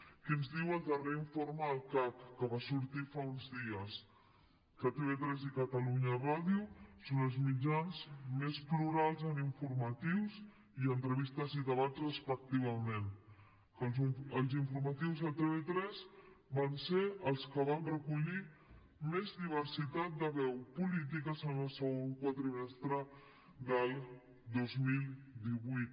què ens diu el darrer informe del cac que va sortir fa uns dies que tv3 i catalunya ràdio són els mitjans més plurals en informatius i entrevistes i debats respectivament que els informatius de tv3 van ser els que van recollir més diversitat de veus polítiques en el segon quadrimestre del dos mil divuit